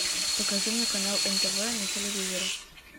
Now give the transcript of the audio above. покажи мне канал нтв на телевизоре